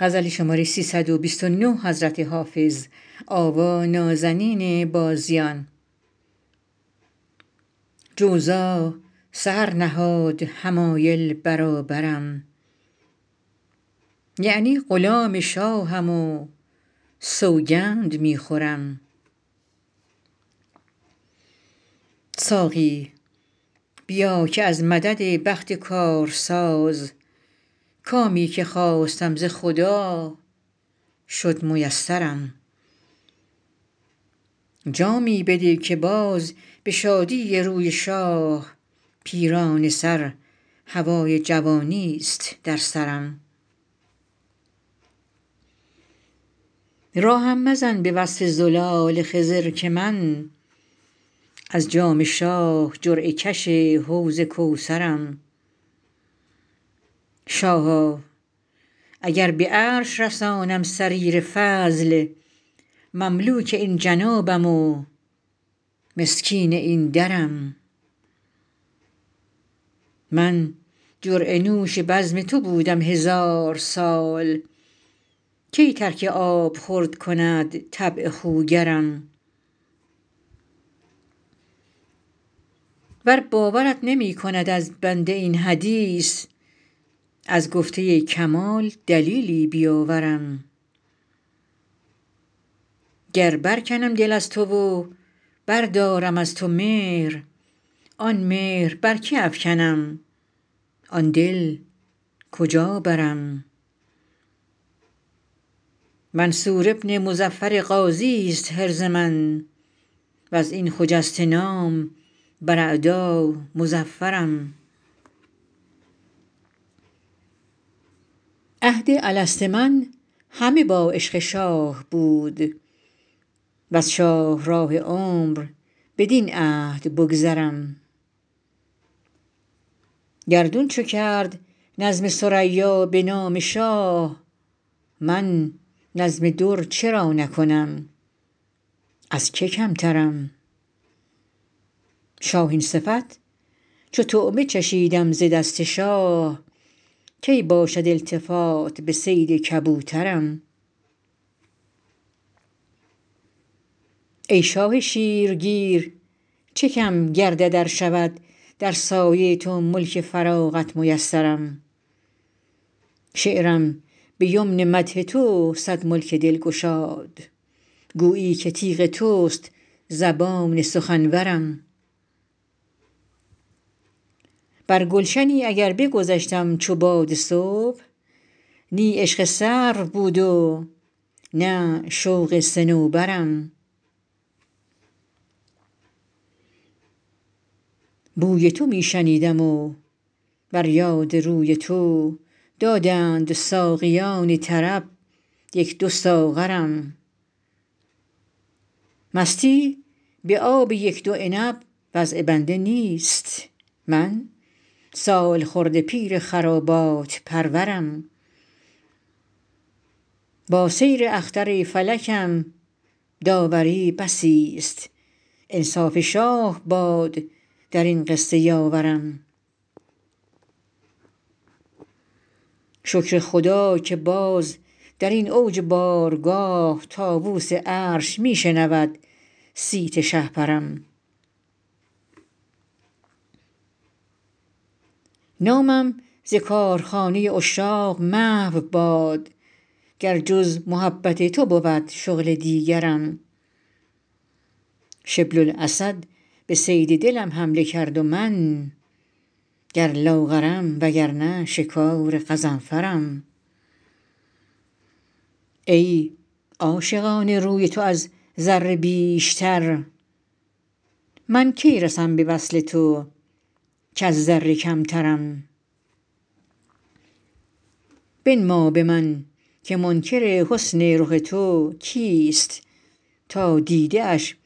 جوزا سحر نهاد حمایل برابرم یعنی غلام شاهم و سوگند می خورم ساقی بیا که از مدد بخت کارساز کامی که خواستم ز خدا شد میسرم جامی بده که باز به شادی روی شاه پیرانه سر هوای جوانیست در سرم راهم مزن به وصف زلال خضر که من از جام شاه جرعه کش حوض کوثرم شاها اگر به عرش رسانم سریر فضل مملوک این جنابم و مسکین این درم من جرعه نوش بزم تو بودم هزار سال کی ترک آبخورد کند طبع خوگرم ور باورت نمی کند از بنده این حدیث از گفته کمال دلیلی بیاورم گر برکنم دل از تو و بردارم از تو مهر آن مهر بر که افکنم آن دل کجا برم منصور بن مظفر غازیست حرز من و از این خجسته نام بر اعدا مظفرم عهد الست من همه با عشق شاه بود وز شاهراه عمر بدین عهد بگذرم گردون چو کرد نظم ثریا به نام شاه من نظم در چرا نکنم از که کمترم شاهین صفت چو طعمه چشیدم ز دست شاه کی باشد التفات به صید کبوترم ای شاه شیرگیر چه کم گردد ار شود در سایه تو ملک فراغت میسرم شعرم به یمن مدح تو صد ملک دل گشاد گویی که تیغ توست زبان سخنورم بر گلشنی اگر بگذشتم چو باد صبح نی عشق سرو بود و نه شوق صنوبرم بوی تو می شنیدم و بر یاد روی تو دادند ساقیان طرب یک دو ساغرم مستی به آب یک دو عنب وضع بنده نیست من سالخورده پیر خرابات پرورم با سیر اختر فلکم داوری بسیست انصاف شاه باد در این قصه یاورم شکر خدا که باز در این اوج بارگاه طاووس عرش می شنود صیت شهپرم نامم ز کارخانه عشاق محو باد گر جز محبت تو بود شغل دیگرم شبل الاسد به صید دلم حمله کرد و من گر لاغرم وگرنه شکار غضنفرم ای عاشقان روی تو از ذره بیشتر من کی رسم به وصل تو کز ذره کمترم بنما به من که منکر حسن رخ تو کیست تا دیده اش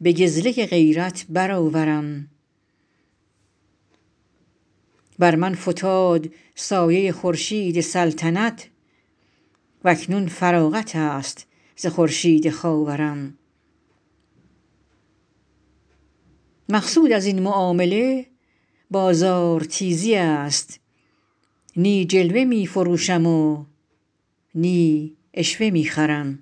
به گزلک غیرت برآورم بر من فتاد سایه خورشید سلطنت و اکنون فراغت است ز خورشید خاورم مقصود از این معامله بازارتیزی است نی جلوه می فروشم و نی عشوه می خرم